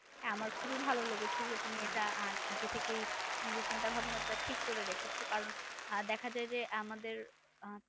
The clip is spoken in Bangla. আমার খুবই ভালো লেগেছে যে তুমি এটা আগে থেকেই নিজের চিন্তা ভাবনা টা ঠিক করে রেখেছো। কারণ দেখা যায় যে, আমাদের আহ